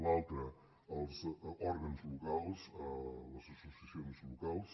l’altra als òrgans locals les associacions locals